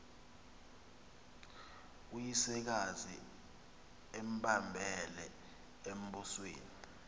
uyisekazi embambele embusweni